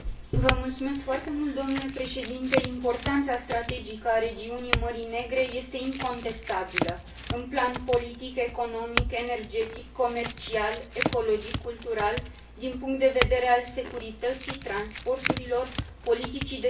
Importanța strategică a regiunii Mării Negre este incontestabilă, în plan politic, economic, energetic, comercial, ecologic, cultural, din punct de vedere al securității transporturilor, politicii de vecinătate și relațiilor externe.